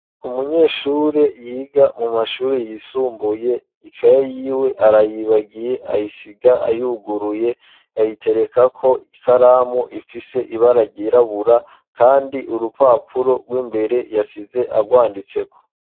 umunyeshuri yiga mu mashuri yisumbuye ikaye yiwe arayibagiye ayisiga ayuguruye ayitereka ko ikaramu ifise ibara ryirabura kandi urupapuro rw'imbere yasize agwanditse ko